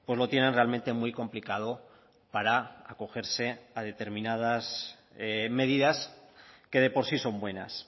lo tienen realmente muy complicado para acogerse a determinadas medidas que de por sí son buenas